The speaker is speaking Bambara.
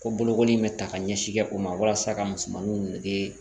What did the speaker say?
Ko bolokoli in bɛ ta ka ɲɛsin kɛ o ma walasa ka musomanninw dege